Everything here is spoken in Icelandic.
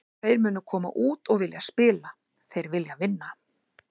Þeir munu koma út og vilja spila, þeir vilja vinna.